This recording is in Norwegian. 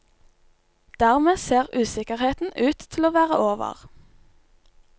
Dermed ser usikkerheten ut til å være over.